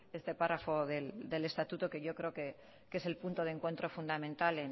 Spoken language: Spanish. este párrafo del estatuto que yo creo que es el punto de encuentro fundamental